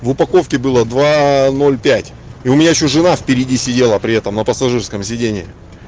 в упаковке было два ноль пять и у меня ещё жена впереди сидела при этом на пассажирском сиденье